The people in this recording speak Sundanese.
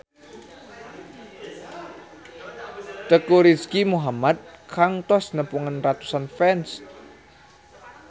Teuku Rizky Muhammad kantos nepungan ratusan fans